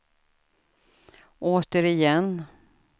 återigen